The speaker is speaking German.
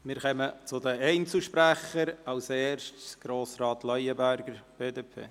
Wir kommen zu den Einzelsprechern, zuerst zu Grossrat Leuenberger, BDP.